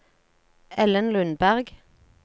Ellen Lundberg